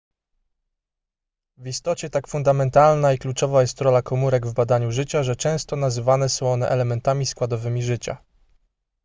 w istocie tak fundamentalna i kluczowa jest rola komórek w badaniu życia że często nazywane są one elementami składowymi życia